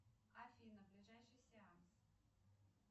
афина ближайший сеанс